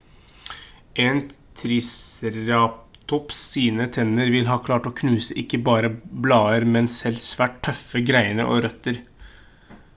en triceratops sine tenner ville ha klart å knuse ikke bare blader men selv svært tøffe greiner og røtter